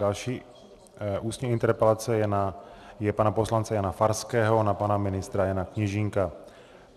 Další ústní interpelace je pana poslance Jana Farského na pana ministra Jana Kněžínka.